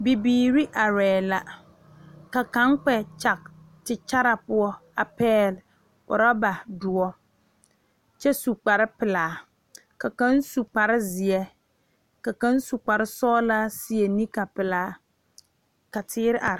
Bibiiri are la ka kaŋa kpɛ kyeŋ te kyere poɔ a pegle oroba doɔ kyɛ su kpare pelaa ka kaŋa su kpare ziɛ ka kaŋa su kpare sɔglɔ seɛ nika pelaa ka teere are.